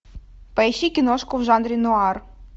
поищи киношку в жанре нуар